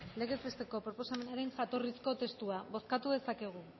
legez besteko proposamenaren jatorrizko testua bozkatu dezakegu